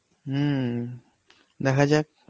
হম দেখা যাক